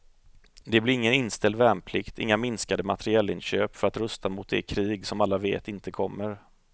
Det blir ingen inställd värnplikt, inga minskade materielinköp för att rusta mot det krig som alla vet inte kommer.